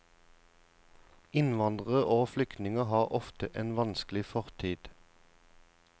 Innvandrere og flyktninger har ofte en vanskelig fortid.